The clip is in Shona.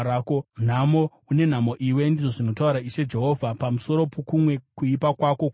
“ ‘Nhamo! Une nhamo iwe, ndizvo zvinotaura Ishe Jehovha. Pamusoro pokumwe kuipa kwako kwose,